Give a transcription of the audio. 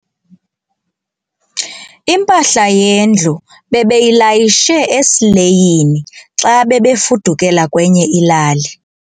Impahla yendlu bebeyilayishe esileyini xa bebefudukela kwenye ilali.